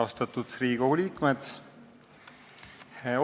Austatud Riigikogu liikmed!